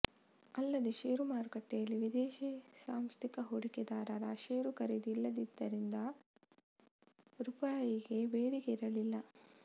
ಅಲ್ಲದೆ ಶೇರು ಮಾರುಕಟ್ಟೆಯಲ್ಲಿ ವಿದೇಶಿ ಸಾಂಸ್ಥಿಕ ಹೂಡಿಕೆದಾರರರ ಶೇರು ಖರೀದಿ ಇಲ್ಲದ್ದರಿಂದ ರೂಪಾಯಿಗೆ ಬೇಡಿಕೆ ಇರಲಿಲ್ಲ